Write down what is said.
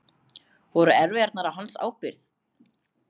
Voru erfðirnar á hans ábyrgð?